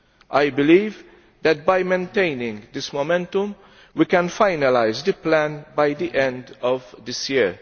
I believe that by maintaining this momentum we can finalise the plan by the end of this year.